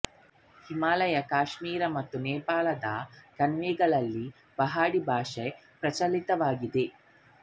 ಹಿಮಾಲಯ ಕಾಶ್ಮೀರ ಮತ್ತು ನೆಪಾಲದ ಕಣಿವೆಗಳಲ್ಲಿ ಪಹಾಡಿ ಭಾಷೆ ಪ್ರಚಲಿತದಲ್ಲಿದೆ